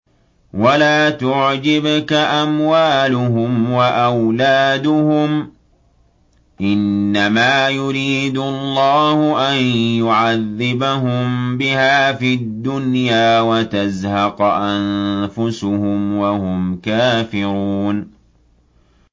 وَلَا تُعْجِبْكَ أَمْوَالُهُمْ وَأَوْلَادُهُمْ ۚ إِنَّمَا يُرِيدُ اللَّهُ أَن يُعَذِّبَهُم بِهَا فِي الدُّنْيَا وَتَزْهَقَ أَنفُسُهُمْ وَهُمْ كَافِرُونَ